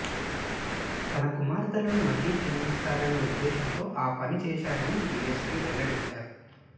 తన కుమార్తెలు మళ్లీ జన్మిస్తారనే ఉద్దేశ్యంతో ఆ పని చేశారని డిఎస్పి వెల్లడించారు